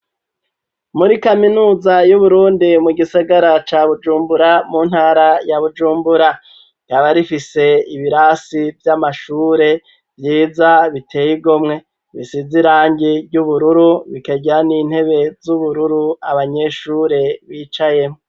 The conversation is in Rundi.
Muri kaminuza y'uburundi mu gisigara ca bujumbura mu ntara ya bujumbura gaba rifise ibirasi vy'amashure vyiza biteyeigomwe bisizirangi ry'ubururu bikaryan'intebe z'ubururu abanyeshure bicayeho.